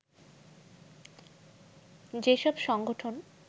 যেসব সংগঠন